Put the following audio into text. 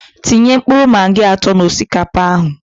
Tinye mkpụrụ magi atọ na osikapa ahụ